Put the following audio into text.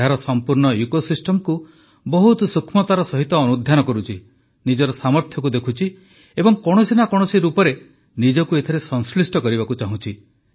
ଏହାର ସମ୍ପୂର୍ଣ୍ଣ ଇକୋସିଷ୍ଟମକୁ ବହୁତ ସୂକ୍ଷ୍ମତାର ସହ ଅନୁଧ୍ୟାନ କରୁଛି ନିଜର ସାମର୍ଥ୍ୟକୁ ଦେଖୁଛି ଏବଂ କୌଣସି ନା କୌଣସି ରୂପରେ ନିଜକୁ ଏଥିରେ ସଂଶ୍ଳିଷ୍ଟ କରିବାକୁ ଚାହୁଁଛି